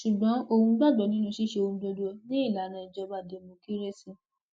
ṣùgbọn òun gbàgbọ nínú ṣíṣe ohun gbogbo ni ìlànà ìjọba dẹmọkírésì